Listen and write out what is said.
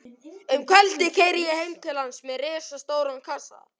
Um kvöldið keyri ég heim til hans með risastóran kassa.